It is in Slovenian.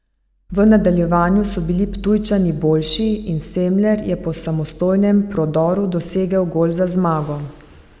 V nadaljevanju so bili Ptujčani boljši in Semler je po samostojnem prodoru dosegel gol za zmago.